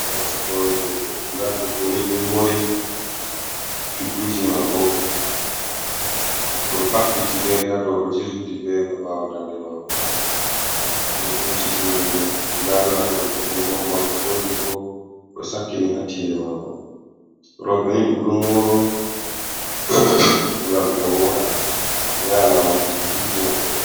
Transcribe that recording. Gasa hore debbo, nda debbo ni ɗum mori cukuji mako oɗo habbiti fere ha do, ɗo jirsuti fere ha ɓawo dande mako, odo husiti wonde da latolgo om morɗi gotel bo odo sakkini ha tinde mako, roɓe ni ɗum ɗo moro ngam be woda, be yaha lamarji bukiji maɓɓe.